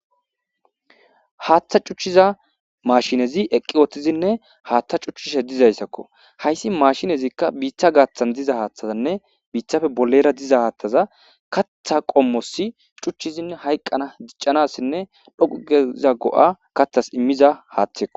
Hatha cuchiza mashinezi eqqi wothizinne haatha cuchchishe dizayssakko hayssi mashinezikka biitha gaathan diza haathazanne biithafe bolera diza haathaza katha qommosi cuchchizin hayqqana jiccanassinne dhoqugeza go'a kathas imiza hatheko.